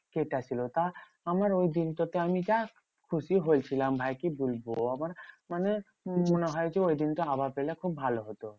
কেটে ছিল। তা আমার ওই দিনটো আমি যা খুশি হয়েছিলাম ভাই কি বলবো? আমার মানে মনে হয় যে, ওই দিনটা আবার পেলে খুব ভালো হতো।